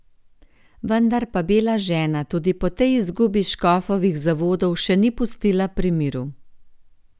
Vendar pa bela žena tudi po tej izgubi škofovih zavodov še ni pustila pri miru.